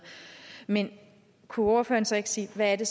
men kunne ordføreren så ikke sige hvad det